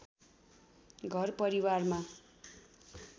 घर परिवारमा